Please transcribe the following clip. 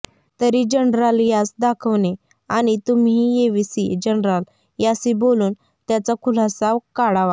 तरी जनराल यांस दाखविणें आणि तुह्मींही येविसीं जनराल यासि बोलून त्याचा खुलासा काढावा